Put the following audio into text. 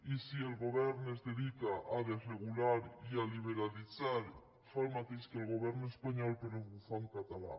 i si el govern es dedica a desregular i a liberalitzar fa el mateix que el govern espanyol però ho fa en català